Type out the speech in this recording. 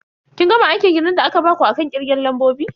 Kin gama aikin gidan da aka baku akan kirgen lambobi?